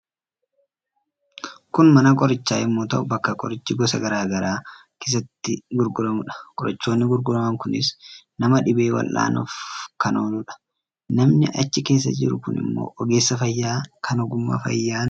Kuni mana qorichaa yommuu ta'u, bakka qorichi gosa gara garaa keessatti gurguramuudha. Qorichoonni gurguraman kunis nama dhibame waldhaanuuf kan oolanidha. Namni achi keessa jiru kun immoo ogeessa fayyaa kan ogummaa fayyaan leenji'edha.